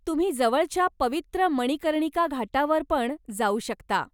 तुम्ही जवळच्या पवित्र मणिकर्णिका घाटावर पण जाऊ शकता.